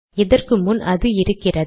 இதற்கு முன் அது இருக்கிறது